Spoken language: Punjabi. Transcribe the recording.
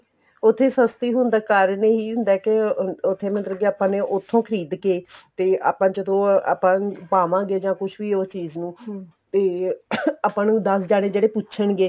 ਉੱਥੇ ਸਸਤੀ ਹੋਣ ਦਾ ਕਾਰਨ ਇਹੀ ਹੁੰਦਾ ਏ ਕੇ ਉੱਥੇ ਮਤਲਬ ਕੇ ਆਪਾਂ ਨੇ ਉੱਥੋ ਖ਼ਰੀਦ ਕੇ ਤੇ ਆਪਾਂ ਜਦੋਂ ਆਪਾਂ ਪਾਵਾ ਗਏ ਜਾਂ ਕੁੱਛ ਵੀ ਉਹ ਚੀਜ਼ ਨੂੰ ਇਹ ਆਪਾਂ ਨੂੰ ਦਸ ਜਾਣੇ ਜਿਹੜੇ ਪੁੱਛਣਗੇ